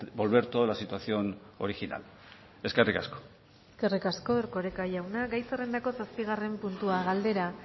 volver toda la situación original eskerrik asko eskerrik asko erkoreka jauna gai zerrendako zazpigarren puntua galdera